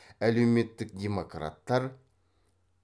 әлеуметтік демократтар